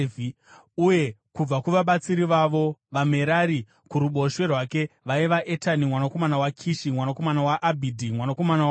uye kubva kuvabatsiri vavo, vaMerari, kuruboshwe rwake, vaiva: Etani mwanakomana waKishi, mwanakomana waAbhidhi, mwanakomana waMaruki,